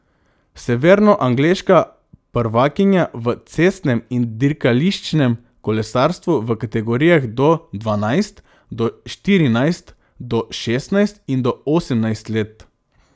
Severnoangleška prvakinja v cestnem in dirkališčnem kolesarstvu v kategorijah do dvanajst, do štirinajst, do šestnajst in do osemnajst let.